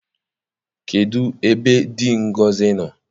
Kedụ ebe dị Ngozi nọ?